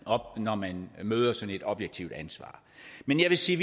op når man møder sådan et objektivt ansvar men jeg vil sige